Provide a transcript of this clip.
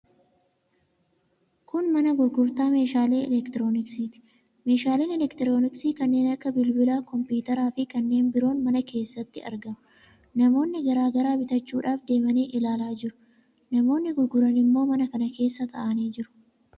Kun mana gurgurtaa meeshaalee elektirooniksiiti. Meeshaaleen elektirooniksii kanneen akka bilbila, kompiwuuteraa fi kanneen biroon mana kana keessatti argamu. Namoonni garaa garaa bitachuudhaaf deemanii ilaalaa jiru. Namoonni gurguran immoo mana kana keessa taa'anii jiru.